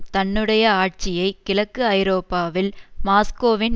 தன்னுடைய ஆட்சியை கிழக்கு ஐரோப்பாவில் மாஸ்கோவின்